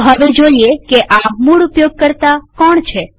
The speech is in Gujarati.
તો હવે જોઈએ કે આ મૂળ ઉપયોગકર્તા કોણ છે